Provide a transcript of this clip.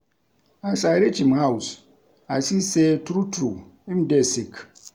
As I reach im house, I see sey true-true, im dey sick